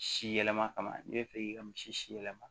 Si yɛlɛma kama n'i bɛ fɛ k'i ka misi si yɛlɛma